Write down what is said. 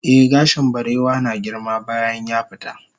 eh gashin barewa na girma bayan yafita